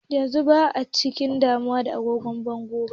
Yanzu ba'a cika damuwa da agogon bango ba.